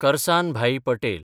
Karsanbhai Patel